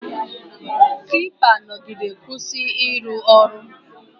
Klipa nọgide kwụsị ịrụ ọrụ